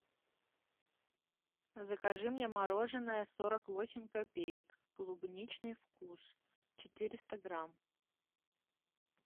закажи мне мороженое сорок восемь копеек клубничный вкус четыреста грамм